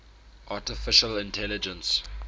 artificial intelligence